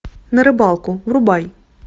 на рыбалку врубай